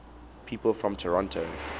people from toronto